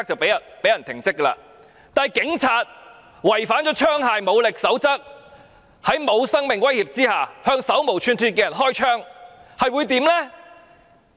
然而，警員違反了使用武力與槍械的守則，在沒有生命威脅之下向手無寸鐵的人開槍，會怎樣呢？